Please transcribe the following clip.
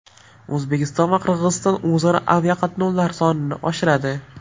O‘zbekiston va Qirg‘iziston o‘zaro aviaqatnovlar sonini oshiradi.